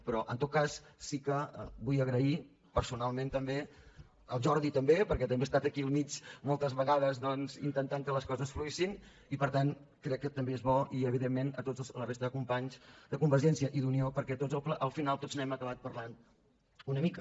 però en tot cas sí que vull agrair personalment també al jordi també perquè també ha estat aquí al mig moltes vegades doncs intentant que les coses fluïssin i per tant crec que també és bo i evidentment a tota la resta de companys de convergència i d’unió perquè al final tots n’hem acabat parlant una mica